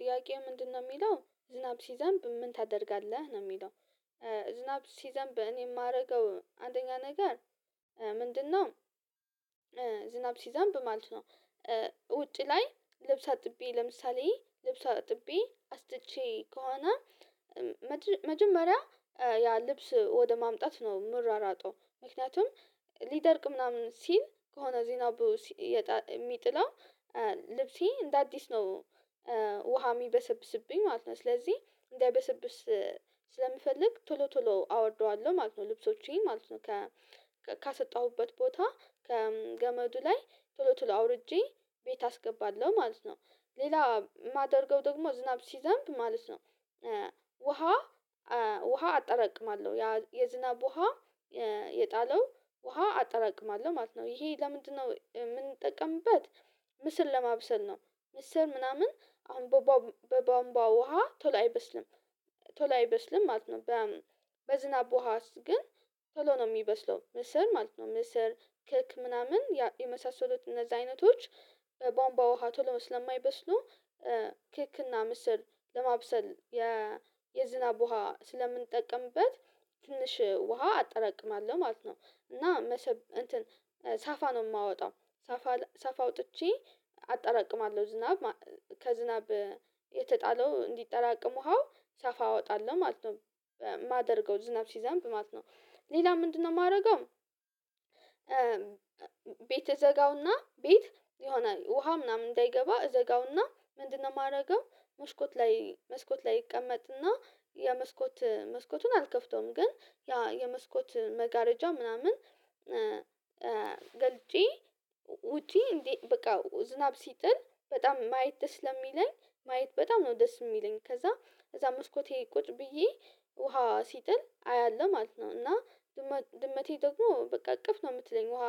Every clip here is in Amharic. ጥያቄው ምንድነው የሚለው ዝናብ ሲዘንብ ምን ታደርጋለህ? ነው የሚለው ዝናብ ሲዘንብ እኔ የማደርገው አንደኛ ነገር ምንድነው? ዝናብ ሲዘንብ ማለት ነው ውጪ ላይ ልብስ አጥቤ ለምሳሌ ልብስ አጥቤ አስጥቼ ከሆነ መጀመሪያ ያ ልብስ ወደ ማምጣት ነው የምሯሯጠው ምክንያቱም ሊደርቅ ምናምን ሲል ከሆነ ዚናቡ በውስጥ የሚጥለው ልብሴ እንደ አዲስ ነው። ውሃ የሚበሰብስብኝ ማለት ነው ስለዚህ እንደ በሰብስ ስለምፈልግ ቶሎ ቶሎ አወርደዋለሁ። ማለት ነው ልብሶቼን ማለት ነው። ካሰጠሁበት ቦታ ከገመዱ ላይ ቶሎ ቶሎ አውርጄ ቤት አስገባለሁ ማለት ነው። ሌላ የማደርገው ደግሞ ዝናብ ሲዘንብ ማለት ነው። ውሃ ውሃ አጠራቅማለሁ። የዝናብ ውሃ የጣለው ውሃ አጠራቅማለሁ። ማለት ነው። ይሄ ለምንድነው? የምንጠቀምበት ምስል ለማብሰል ነው ምስር ምናምን አሁን በቧንቧ ውሃ ቶሎ አይበስልም። ቶሎ አይበስልም። ማለት ነው። በዝናብ ውሃ ግን ቶሎ ነው የሚበስለው። ምስር ማለት ነው ምስር ክክ ምናምን የመሳሰሉት እነዛ አይነቶች በአንባ ውሃ ቶሎ ስለማይበስሉ ክክ እና ምስር ለማብሰል የዝናብ ውሃ ስለምንጠቅምበት ትንሽ ውሃ አጠራቅማለሁ። ማለት ነው። እና መሰብ እንትን ሳፋ ነው የማወጣው ሳፋ ሳፋ አውጥቼ አጠራቅማለሁ። ዝናብ ከዝናብ የተጣለው እንዲጠራቀም ውሃው ሰፋ እወጣለሁ ማለት ነው። የማደርገው ዝናብ ሲዘንብ ማለት ነው። ሌላ ምንድነው የማደርገው ቤት ይዘጋውና ቤት ይሆናል። ውሃ ምናምን እንዳይገባ እዘጋውና ምንድነው የማደርገው መስኮት ላይ መስኮት ላይ ይቀመጥና የመስኮት መስኮቱን አልከፍተውም ግን ያ የመስኮት መጋረጃ ምናምን ገልጬ ውጪ እንዴት በቃ ዝናብ ሲጥል በጣም ማየት ደስ ስለሚለኝ ማየት በጣም ነው ደስ የሚለኝ ከዛ ከዛ መስኮቴ ቁጭ ብዬ ውሃ ሲጥል አያለሁ ማለት ነው። እና ድመቴ ደግሞ በቃ እቅፍ ነው የምትለኝ ውሃ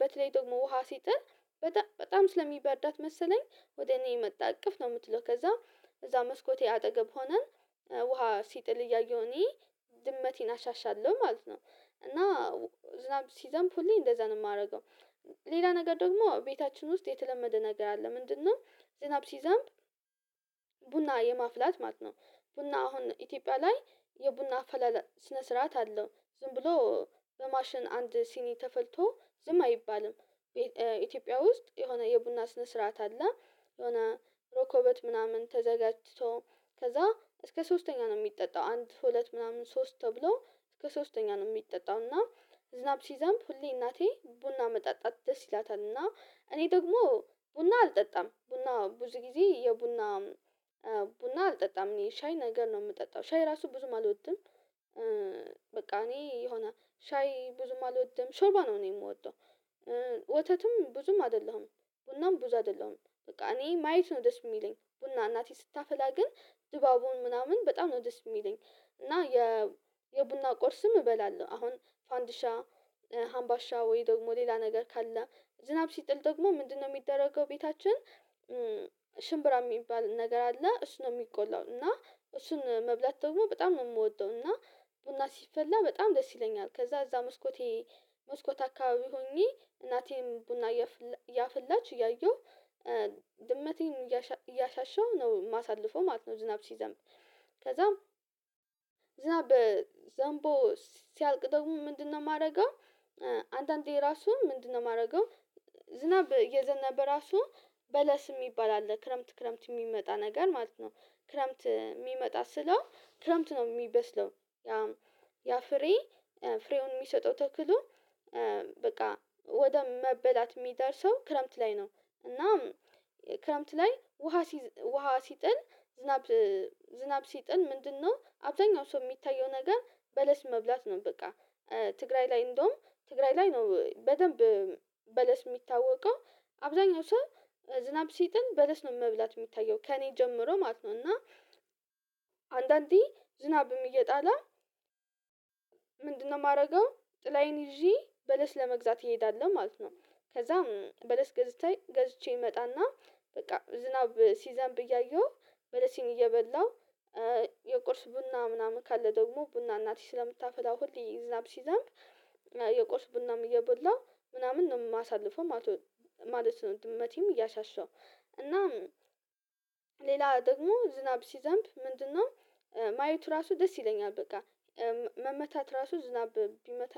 በተለይ ደግሞ ውሃ ሲጥል በጣም ስለሚበርዳት መሰለኝ ወደ እኔ መጣ እቅፍ ነው። የምትለው ከዛ እዛ መስኮቴ አጠገብ ሆነን ውሃ ሲጥል እያየሁኝ እኔ ድመቴን አሻሻለሁ ማለት ነው። እና ዝናብ ሲዘንብ ሁሌ እንደዛ ነው የማደርገው ሌላ ነገር ደግሞ ቤታችን ውስጥ የተለመደ ነገር አለ ምንድነው ዝናብ ሲዘምብ ቡና የማፍላት ማለት ነው ቡና አሁን ኢትዮጵያ ላይ የቡና አፈላላጭ ስነ ስርዓት አለው። ዝም ብሎ በማሽን አንድ ሲኒ ተፈልቶ ዝም አይባልም። ኢትዮጵያ ውስጥ የሆነ የቡና ስነ ስርዓት አለ የሆነ ሮኮበት ምናምን ተዘጋጅቶ ከዛ እስከ ሶስተኛ ነው የሚጠጣው አንድ ሁለት ምናምን ሶስት ተብሎ እስከ ሶስተኛ ነው የሚጠጣው። እና ዝናብ ሲዘንብ ሁሌ እናቴ ቡና መጣጣት ደስ ይላታል። እና እኔ ደግሞ ቡና አልጠጣም ቡና ብዙ ጊዜ የቡና ቡና አልጠጣም እኔ ሻይ ነገር ነው የምጠጣው። ሻይ ራሱ ብዙም አልወድም። በቃ እኔ የሆነ ሻይ ብዙም አልወድም ሾርባ ነው እኔ የምወደው። ወተትም ብዙም አይደለሁም ቡናም ቡዝ አይደለሁም በቃ እኔ ማየት ነው ደስ የሚለኝ ቡና እናቴ ስታፈላ ግን ድባቡን ምናምን በጣም ነው ደስ የሚለኝ። እና የቡና ቆርስም እበላለሁ። አሁን ፋንዲሻ ሀምባሻ ወይ ደግሞ ሌላ ነገር ካለ ዝናብ ሲጥል ደግሞ ምንድነው የሚደረገው ቤታችን ሽምብራ የሚባል ነገር አለ። እሱ ነው የሚቆላው እና እሱን መብላት ደግሞ በጣም ነው የምወደው። እና ቡና ሲፈላ በጣም ደስ ይለኛል ከዛ እዛ መስኮቴ መስኮት አካባቢ ሆኜ እናቴም ቡና ያፍላች እያየሁ ድመቴን እያሻሸሁ ነው የማሳልፈው ማለት ነው ዝናብ ሲዘምጥ ከዛም ዝናብ ዘምቦ ሲያልቅ ደግሞ ምንድነው የማደርገው? አንዳንዴ ራሱ ምንድነው የማደርገው? ዝናብ እየዘነበ ራሱ በለስ የሚባል አለ ክረምት ክረምት የሚመጣ ነገር ማለት ነው ክረምት የሚመጣ ስለው ክረምት ነው የሚበስለው ያ ፍሬ ፍሬውን የሚሰጠው ተክሎ በቃ ወደ መበላት የሚደርሰው ክረምት ላይ ነው። እና ክረምት ላይ ውሃ ውሃ ሲጥል ዝናብ ዝናብ ሲጥል ምንድነው አብዛኛው ሰው የሚታየው ነገር በለስ መብላት ነው በቃ ትግራይ ላይ እንደውም ትግራይ ላይ ነው በደንብ በለስ የሚታወቀው አብዛኛው ሰው ዝናብ ሲጥን በለስ ነው መብላት የሚታየው ከእኔ ጀምሮ ማለት ነው። እና አንዳንዴ ዝናብም እየጣለ ምንድነው የማደርገው ጥላዬን ይዤ በለስ ለመግዛት እንሄዳለን ማለት ነው ከዛም በለስ ገዝቼ ገዝቼ እመጣና በቃ ዝናብ ሲዘንብ እያየሁ በለሴን እየበላሁ የቁርስ ቡና ምናምን ካለ ደግሞ ቡና እናቴ ስለምታፈላው ሁሌ ዝናብ ሲዛንብ የቆርስ ቡናም እየበላው ምናምን ነው የማሳልፈው ማለት ነው ድመቴም እያሻሻሁ እናም ሌላ ደግሞ ዝናብ ሲዘንብ ምንድነው ማየቱ ራሱ ደስ ይለኛል። በቃ መመታት ራሱ ዝናብ ቢመታ